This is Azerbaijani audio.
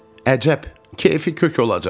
Əcəb, keyfi kök olacaq.